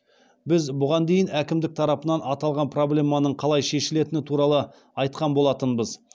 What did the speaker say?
біз бұған дейін әкімдік тарапынан аталған проблеманың қалай шешілетіні туралы айтқан болатынбыз